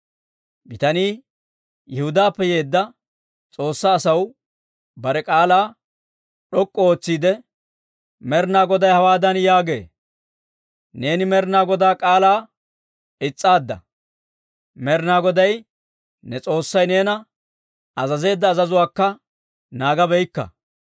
Bitanii Yihudaappe yeedda S'oossaa asaw bare k'aalaa d'ok'k'u ootsiide, «Med'inaa Goday hawaadan yaagee; ‹Neeni Med'inaa Godaa k'aalaa is's'aadda; Med'inaa Goday ne S'oossay neena azazeedda azazuwaakka naagabaakka.